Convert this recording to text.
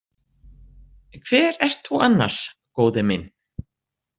Hver ert þú annars, góði minn?